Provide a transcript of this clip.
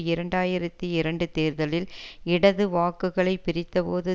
இரண்டு ஆயிரத்தி இரண்டு தேர்தலில் இடது வாக்குகளை பிரித்தபோது